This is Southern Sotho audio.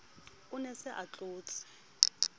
ne a se a tlotse